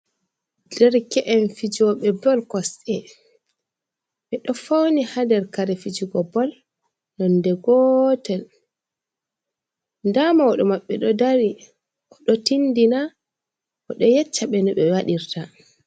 Derke’en fijooɓe bol kosɗe. Ɓe ɗo fauni haa nder kare fijugo bol nonde gotel. Ndaa mauɗo maɓɓe ɗo dari. O ɗo tindina, o ɗo yecca ɓe no ɓe waɗirta.